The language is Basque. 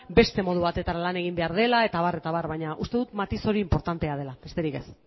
beste modu batetara lan egin behar dela eta abar eta abar baina uste dut matiz hori inportantea dela besterik ez